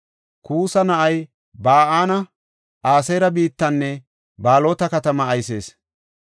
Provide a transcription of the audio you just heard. Kuusa na7ay Ba7aani Aseera biittanne Baalota katamaa aysees.